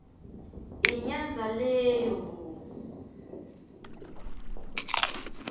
inyandza leyo bo